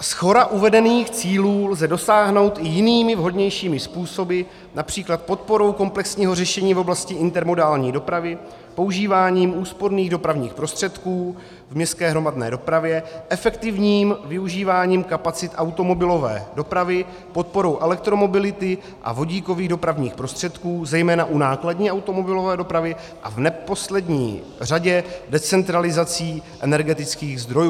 Shora uvedených cílů lze dosáhnout i jinými, vhodnějšími způsoby, například podporou komplexního řešení v oblasti intermodální dopravy, používáním úsporných dopravních prostředků v městské hromadné dopravě, efektivním využíváním kapacit automobilové dopravy, podporou elektromobility a vodíkových dopravních prostředků zejména u nákladní automobilové dopravy a v neposlední řadě decentralizací energetických zdrojů.